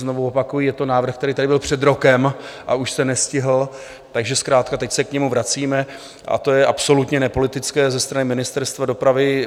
Znovu opakuji, je to návrh, který tady byl před rokem, a už se nestihl, takže zkrátka teď se k němu vracíme, a to je absolutně nepolitické ze strany Ministerstva dopravy.